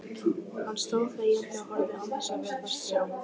Hann stóð þegjandi og horfði án þess að virðast sjá.